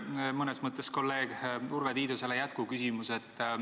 Mul on mõnes mõttes kolleeg Urve Tiidusele jätkuküsimus.